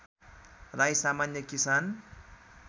राई सामान्य किसान